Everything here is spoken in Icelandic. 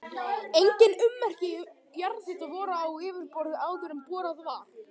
Engin ummerki jarðhita voru á yfirborði áður en borað var.